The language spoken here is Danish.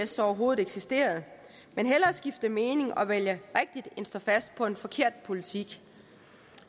så overhovedet eksisteret men hellere skifte mening og vælge rigtigt end at stå fast på en forkert politik